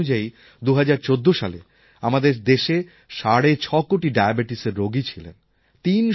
পরিসংখ্যান অনুযায়ী ২০১৪ সালে আমাদের দেশে সাড়ে ৬ কোটি ডায়াবেটিসের রোগী ছিলেন